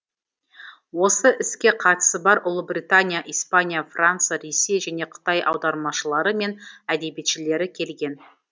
осы іске қатысы бар ұлыбритания испания франция ресей және қытай аудармашылары мен әдебиетшілері келген